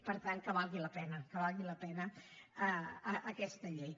per tant que valgui la pena que valgui la pena aquesta llei